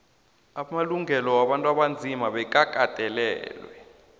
amalungelo wabantu abanzima bekagandelelwe